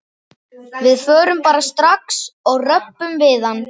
Við förum bara strax og röbbum við hann.